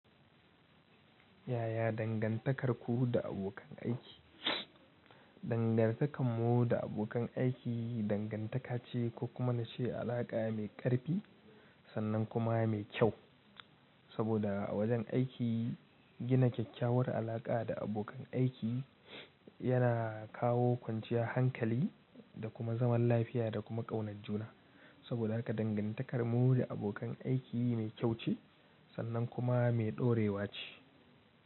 Yaya dangantakarku da abokan aiki? Dangantakar mu da abokan aiki dangantaka ce ko kuma na ce alaƙa mai ƙarfi sannan kuma mai kyau. Saboda a wajen aiki gina kyakkyawar alaƙa da abokan aiki yana kawo kwanciyar hankali da kuma zaman lafiya da kuma ƙaunat juna. Saboda haka dangantakar mu da abokan aiki mai kyau ce sannan kuma mai ɗorewa ce.